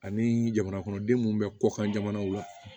Ani jamana kɔnɔden minnu bɛ kɔkan jamanaw la